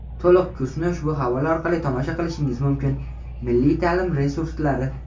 To‘liq kursni ushbu havola orqali tomosha qilishingiz mumkin: Milliy ta’lim resurslari.